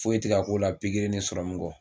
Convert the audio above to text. Foyi tɛ k'a k'o la pikiri ni serɔmu kɔ